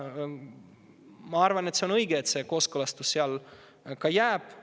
Ma arvan, et on õige, kui see kooskõlastus seal sellisena ka jääb.